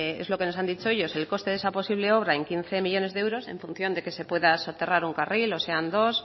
es lo que nos han dicho ellos el coste de esa posible obra en quince millónes de euros en función de que se pueda soterrar un carril o sean dos